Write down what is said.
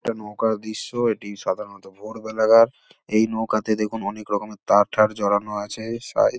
ইটা নৌকার দৃশ্য এটি সাধারণত ভোরবেলাকার। এই নৌকা তে দেখুন অনেক রকম তার থার জড়ানো আছে সাই--